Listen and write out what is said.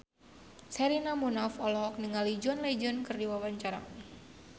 Sherina Munaf olohok ningali John Legend keur diwawancara